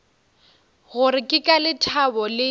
gore ke ka lethabo le